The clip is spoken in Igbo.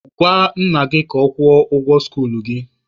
Gwa nna gị ka ọ kwụọ ụgwọ skuluu gị!